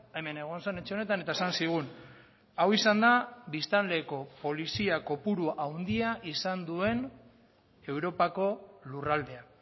hemen egon zen etxe honetan eta esan zigun hau izan da biztanleko polizia kopurua handia izan duen europako lurraldea